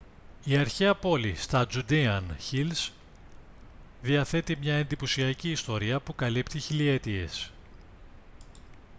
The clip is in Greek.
η αρχαία πόλη στα judean hills διαθέτει μια εντυπωσιακή ιστορία που καλύπτει χιλιετίες